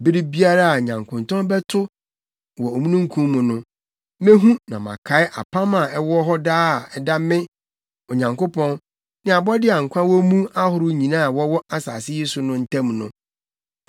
Bere biara a nyankontɔn bɛto wɔ omununkum mu no, mehu na makae apam a ɛwɔ hɔ daa a ɛda me, Onyankopɔn, ne abɔde a nkwa wɔ mu ahorow nyinaa a wɔwɔ asase yi so no ntam no.”